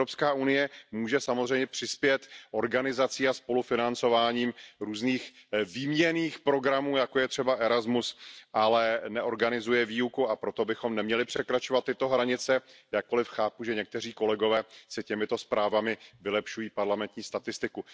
EU může samozřejmě přispět organizací a spolufinancováním různých výměnných programů, jako je třeba ERASMUS, ale neorganizuje výuku, a proto bychom neměli překračovat tyto hranice, jakkoli chápu, že někteří kolegové si těmito zprávami vylepšují parlamentní statistiku.